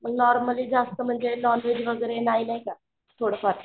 मग नॉर्मली जास्त म्हणजे नॉनव्हेग वगैरे नाही नाही का. थोडंफार